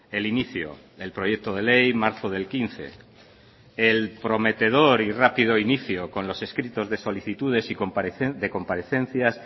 el inicio el proyecto de ley marzo del quince el prometedor y rápido inicio con los escritos de solicitudes y de comparecencias